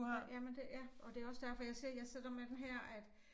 Ja jamen det ja og det også derfor jeg siger jeg sidder med den her at